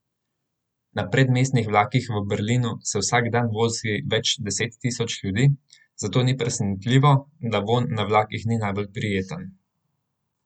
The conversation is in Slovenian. Na predmestnih vlakih v Berlinu se vsak dan vozi več deset tisoč ljudi, zato ni presenetljivo, da vonj na vlakih ni najbolj prijeten.